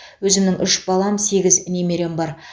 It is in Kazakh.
өзімнің үш балам сегіз немерем бар